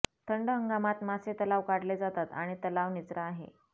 थंड हंगामात मासे तलाव काढले जातात आणि तलाव निचरा आहे